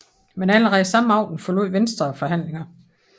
Men allerede samme aften forlod Venstre forhandlingerne